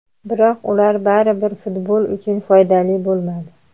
Biroq ular baribir futbol uchun foydali bo‘lmadi.